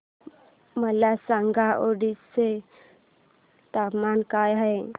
मला सांगा ओडिशा चे तापमान काय आहे